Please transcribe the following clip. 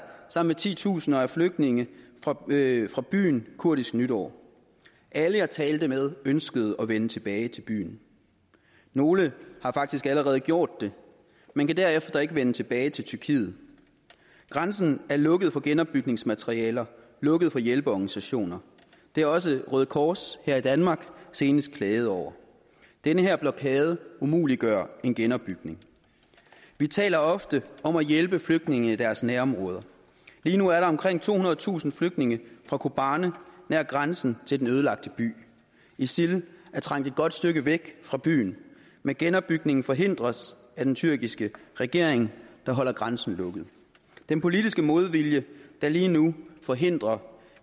sammen med titusinder af flygtninge fra byen fra byen kurdisk nytår alle jeg talte med ønskede at vende tilbage til byen nogle har faktisk allerede gjort det men kan derefter ikke vende tilbage til tyrkiet grænsen er lukket for genopbygningsmaterialer lukket for hjælpeorganisationer det har også røde kors her i danmark senest klaget over den her blokade umuliggør en genopbygning vi taler ofte om at hjælpe flygtninge i deres nærområder lige nu er der omkring tohundredetusind flygtninge fra kobani nær grænsen til den ødelagte by isil er trængt et godt stykke væk fra byen men genopbygningen forhindres af den tyrkiske regering der holder grænsen lukket den politiske modvilje der lige nu forhindrer